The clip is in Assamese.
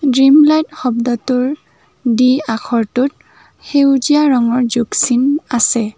ড্ৰিমলাইট শব্দটোৰ দি আখৰটোত সেউজীয়া ৰঙৰ যোগ চিন আছে।